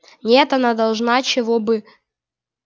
нет она должна чего бы